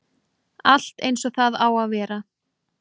Allt eins og það á að vera